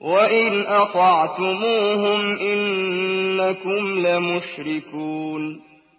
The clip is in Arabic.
وَإِنْ أَطَعْتُمُوهُمْ إِنَّكُمْ لَمُشْرِكُونَ